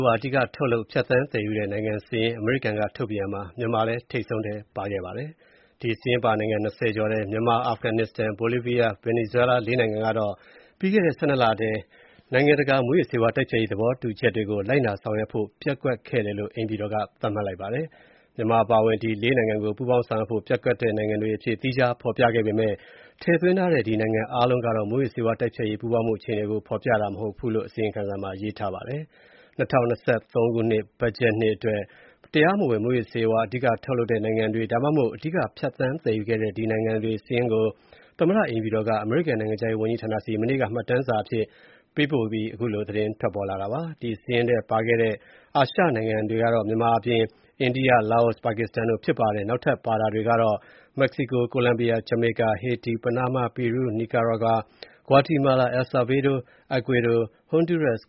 ဝါး အဓိက ထုတ်လုပ်၊ ဖြတ်သန်းသယ်ယူတဲ့ နိုင်ငံစာရင်း အမေရိကန် ထုတ်ပြန်ရာမှာ မြန်မာလည်း ထိပ်ဆုံးထဲ ပါခဲ့ပါတယ်။ ဒီစာရင်းပါ နိုင်ငံ ၂၀ ကျော်ထဲ မြန်မာ၊ အာဖဂန်နစ္စတန်၊ ဘိုလီဗီးယားနဲ့ ဗင်နီဇွဲလား ၄ နိုင်ငံကတော့၊ ပြီးခဲ့တဲ့ ၁၂ လထဲ နိုင်ငံတကာ မူးယစ်ဆေးဝါးတိုက်ဖျက်ရေး သဘောတူချက်တွေကို လိုက် နာဆောင်ရွက်ဖို့ ပျက်ကွက်ခဲ့တယ်လို့ အိမ်ဖြူတော်က သတ်မှတ်လိုက်ပါတယ်။ မြန်မာအပါအဝင် ဒီ ၄ နိုင်ငံကို ပူးပေါင်းဆောင်ရွက်ဖို့ ပျက်ကွက်တဲ့ နိုင်ငံတွေအဖြစ် သီးခြားဖေါ်ပြခဲ့ပေမယ့် ထည့်သွင်းထာတဲ့နိုင်ငံအားလုံးက မူးယစ်ဆေးဝါးတိုက်ဖျက်ရေးပူးပေါင်းမှု အခြေအနေကို ဖေါ်ပြတာတော့မဟုတ်ဘူးလို့ အစီရင်ခံစာမှာ ရေးထားပါတယ်။ ၂၀၂၃ ဘတ်ဂျက်နှစ်အတွက် တရားမဝင် မူးယစ်ဆေးဝါး အဓိက ထုတ်လုပ်တဲ့နိုင်ငံတွေ ဒါမှမဟုတ် အဓိက ဖြတ်သန်းသယ်ယူတဲ့ ဒီနိုင်ငံတွေစာရင်းကို သမ္မတအိမ်ဖြူတော်က အမေရိကန်နိုင်ငံခြားရေးဝန်ကြီးဌာနဆီ မနေ့က မှတ်တမ်းစာအဖြစ် ပေးပို့ခဲ့ပါတယ်။ ဒီစာရင်းထဲပါခဲ့တဲ့ အာရှနိုင်ငံတွေကတော့ မြန်မာအပြင်၊ အိန္ဒိယ၊ လာအို၊ ပါကစ္စတန်တု့ိဖြစ်ပါတယ်။ နောက်ထပ်ပါတာတွေကတော့ မက္ကဆီကို၊ ကိုလမ်ဘီယာ၊ ဂျမေကာ၊ ဟေတီ၊ ပနားမား၊ ပီရုး၊ နီကွာရာဂါ၊ ဂွာတီမာလာ၊ အယ်လ်ဆာဗေဒို၊ Ecuador ၊ ဟွှန်ဒူးရပ်စ်